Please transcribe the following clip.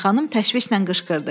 Tışbayın xanım təşvişlə qışqırdı.